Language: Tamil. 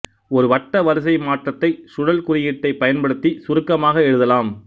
ஒரு வட்ட வரிசைமாற்றத்தை சுழல் குறியீட்டைப் பயன்படுத்திச் சுருக்கமாக எழுதலாம்